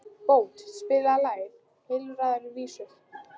Bót, spilaðu lagið „Heilræðavísur“.